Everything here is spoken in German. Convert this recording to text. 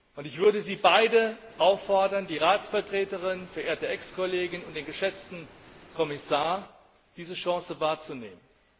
Und ich würde sie beide auffordern, die Ratsvertreterin, verehrte Ex Kollegin, und den geschätzten Kommissar, diese Chance wahrzunehmen.